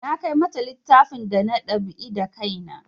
Na kai mata littafin da na dab'i da kai na